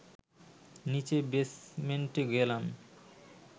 নীচে বেসমেন্টে গেলাম